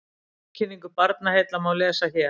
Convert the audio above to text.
Tilkynningu Barnaheilla má lesa hér